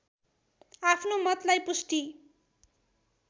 आफ्नो मतलाई पुष्टि